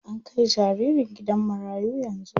An kai jaririn gidan marayu yanzu.